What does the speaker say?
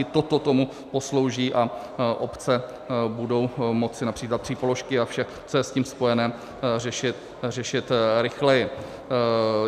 I toto tomu poslouží a obce budou moci například přípoložky a vše, co je s tím spojené, řešit rychleji.